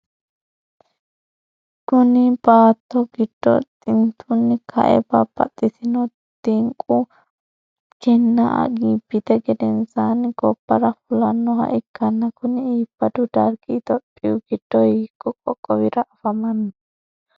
Kunni baatto gido xintunni kae babbaxitino xinqu kinna iibittu gedensaanni gobara fullanoha ikanna kunni iibadu darigi itophiyu gido hiikko qoqowira afamanno?